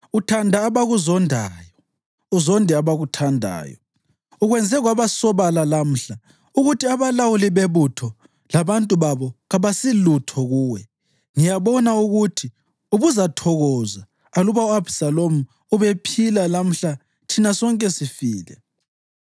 Uthanda abakuzondayo uzonde abakuthandayo. Ukwenze kwabasobala lamhla ukuthi abalawuli bebutho labantu babo kabasilutho kuwe. Ngiyabona ukuthi ubuzathokoza aluba u-Abhisalomu ubephila lamhla thina sonke sifile.